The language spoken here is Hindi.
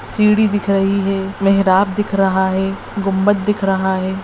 सीढ़ी दिख रही है मेहराब दिख रहा है गुंम्बद दिख रहा है।